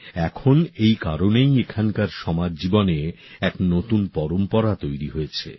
এখন এই কারণেই এখানকার সমাজ জীবনে এক নতুন পরম্পরা তৈরি হয়েছে